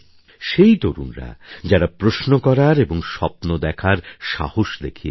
সেই তরুণরা যারা প্রশ্ন করার এবং স্বপ্ন দেখার সাহস দেখিয়েছে